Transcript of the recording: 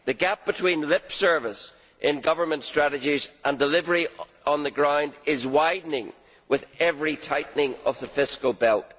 The gap between lip service in government strategies and delivery on the ground is widening with every tightening of the fiscal belt.